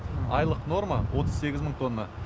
айлық норма отыз сегіз мың тонна